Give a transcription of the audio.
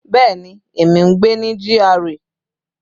Bẹ́ẹ̀ni, èmi ń gbé ní GRA.